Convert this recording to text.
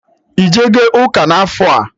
Ijego ụka n'afọ a?